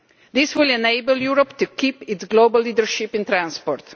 This will enable Europe to keep its global leadership in transport.